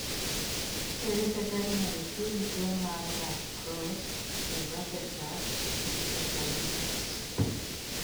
Ere kaka inyalo thiedhi tuo mar La Crosse (LAC) encephalitis?